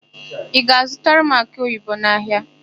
Ị ga-azụtara m akị oyibo n'ahịa?